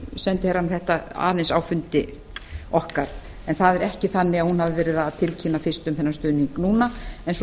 sendiherrann þetta aðeins á fundi okkar en það er ekki þannig að hún hafi verið að tilkynna fyrst um þennan stuðning núna svo